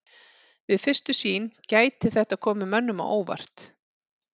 Við fyrstu sýn gæti þetta komið mönnum á óvart.